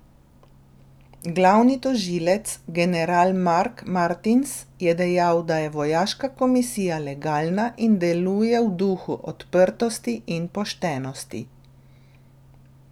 Glavni tožilec, general Mark Martins, je dejal, da je vojaška komisija legalna in deluje v duhu odprtosti in poštenosti.